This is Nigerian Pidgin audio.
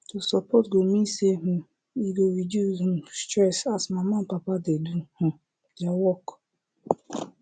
to support go mean say um e go reduce um stress as mama and papa dey do um their work